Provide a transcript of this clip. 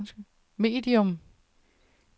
medium